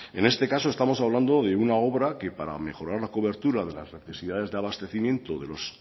en este caso estamos hablando de una obra que para mejorar la cobertura de las necesidades de abastecimiento de los